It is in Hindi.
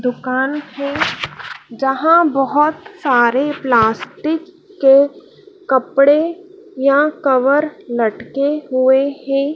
दुकान के जहां बहोत सारे प्लास्टिक के कपड़े या कवर लटके हुए हैं।